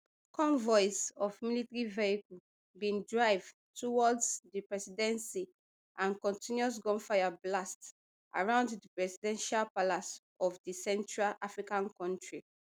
convoys of military vehicle bin drive towards di presidency and continuous gunfire blast around di presidential palace of of di central african kontri